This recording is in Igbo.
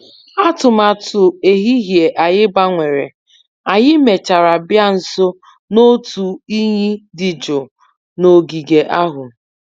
Atụmatụ ehihie anyị gbanwere, anyị mèchàrà bịa nso n'otu iyi dị jụụ n'ogige ahụ